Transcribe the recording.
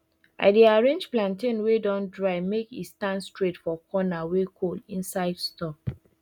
i dey arrange plantain wey don dry make e stand straight for corner wey cold inside store